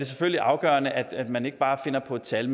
selvfølgelig afgørende at man ikke bare finder på et tal